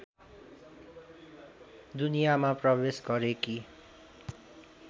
दुनियाँमा प्रवेश गरेकी